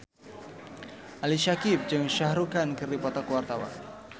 Ali Syakieb jeung Shah Rukh Khan keur dipoto ku wartawan